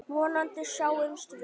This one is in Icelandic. Vonandi sjáumst við.